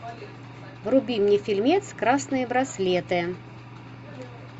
вруби мне фильмец красные браслеты